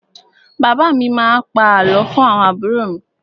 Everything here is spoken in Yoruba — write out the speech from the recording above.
Bàbá mi má a pa àlọ́ fún àwọn àbúrò mi.